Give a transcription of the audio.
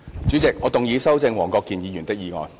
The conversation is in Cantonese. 主席，我動議修正黃國健議員的議案。